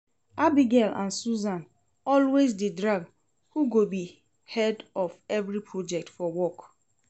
Abigail and Susan always dey drag who go be head of every project for work